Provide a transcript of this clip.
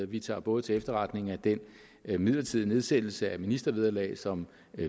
vi tager både til efterretning at den midlertidige nedsættelse af ministervederlaget som